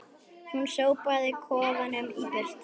Hún sópaði kofanum í burtu